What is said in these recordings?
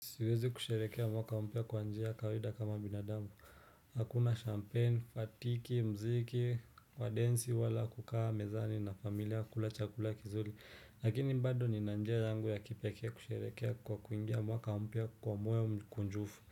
Siwezi kusherehekea mwaka mpya kwa njia kawaida kama binadamu. Hakuna champagne, fatiki, mziki, kwa densi, wala kukaa, mezani, na familia, kula chakula kizuli. Lakini bado nina njia yangu ya kipekee kusherehekea kwa kuingia mwaka mpya kwa moyo mkunjufu.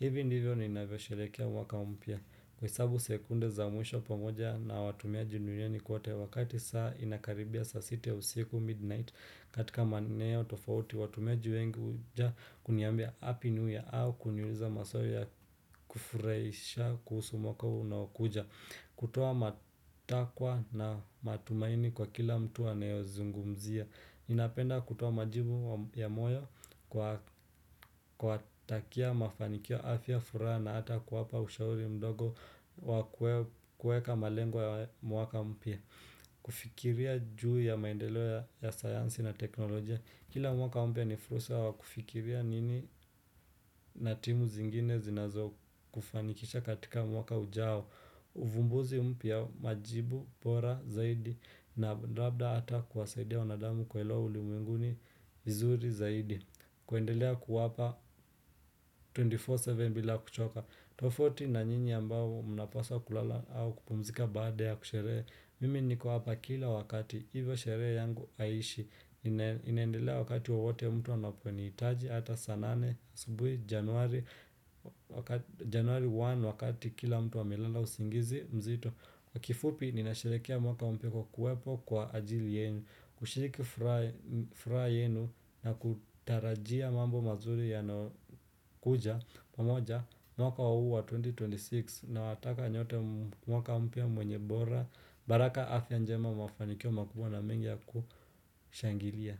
Ivi ndivyo niinavyo sherehekea mwaka mpya. Kuhesabu sekunde za mwisho pamoja na watumiaji nurieni kuote wakati saa inakaribia saa 6 usiku midnight katika maeneo tofauti watumeji wengu huja kuniambia happy new year au kuniuliza maswali ya kufurahisha kuhusu mwaka huu unaokuja Kutuoa matakwa na matumaini kwa kila mtu anayozungumzia Ninapenda kutoa majibu ya moyo kuwatakia mafanikio afya furaha na hata kuwapa ushauri mdogo kueka malengo ya mwaka mpya kufikiria juu ya maendeleo ya sayansi na teknolojia Kila mwaka mpya ni fursa wa kufikiria nini na timu zingine zinazokufanikisha katika mwaka ujao uvumbuzi mpya majibu, bora, zaidi na labda ata kuwasaidia wanadamu kuelewa uli mwinguni, vizuri, zaidi kuendelea kuwapa 24-7 bila kuchoka tofauti na nyinyi ambao mnapasa kulala au kupumzika baada ya kushere Mimi niko hapa kila wakati hivyo sherehe yangu haiishi Inendelea wakati wowote mtu anaponihitaji Hata saa nane asubuhi januari 1 wakati kila mtu amelala usingizi mzito Kwa kifupi nina sherekea mwaka mpya kwa kuwepo kwa ajili yenu kushiriki fura yenu na kutarajia mambo mazuri yanayo kuja pamoja mwaka huu wa 2026 na wataka nyote mwaka mpya mwenye bora baraka afya njema mafanikio makubwa na mengi ya kushangilia.